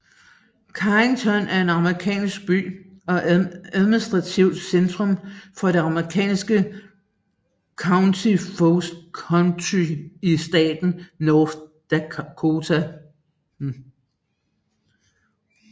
Carrington er en amerikansk by og administrativt centrum for det amerikanske county Foster County i staten North Dakota